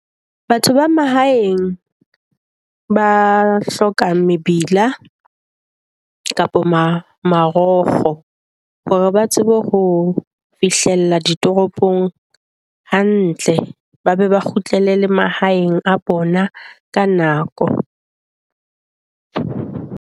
Batho ba mahaeng, ba hloka mebila kapa mang marokgo hore ba tsebe ho ho fihlella ditoropong hantle, ba be ba kgutlele le mahaeng a bona ka nako.